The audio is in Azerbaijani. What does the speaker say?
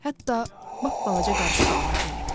Hətta lap balaca qarışqalara belə.